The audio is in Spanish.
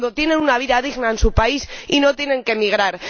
Cuando tienen una vida digna en su país y no tienen que emigrar.